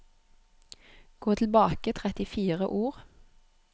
Gå tilbake trettifire ord